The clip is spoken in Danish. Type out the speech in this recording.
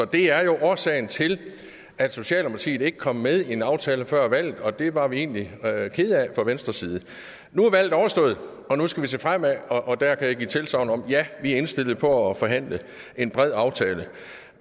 det er jo årsagen til at socialdemokratiet ikke kom med i en aftale før valget og det var vi egentlig kede af fra venstres side nu er valget overstået og nu skal vi se fremad og der kan jeg give tilsagn om at vi er indstillet på at forhandle en bred aftale